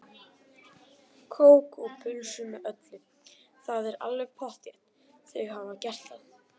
Kók og pulsu með öllu, það er alveg pottþétt, þau hafa gert það.